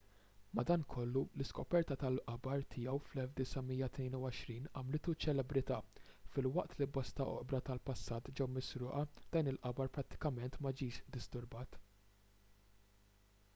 madankollu l-iskoperta tal-qabar tiegħu fl-1922 għamlitu ċelebrità filwaqt li bosta oqbra tal-passat ġew misruqa dan il-qabar prattikament ma ġiex disturbat